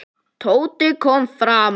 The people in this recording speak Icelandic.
Tóti kom framar.